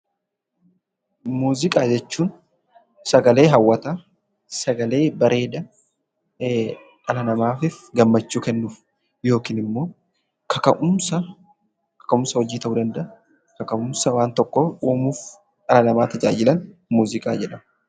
Muuziqaa jechuun, sagalee hawwataa, sagalee bareedaa dhala namaatiifis gammachuu kennu yookiin immoo kaka'umsa hojii ta'uu danda'a, kaka'umsa waan tokkoo uumuuf dhala namaa tajaajilan muuziqaa jedhamu.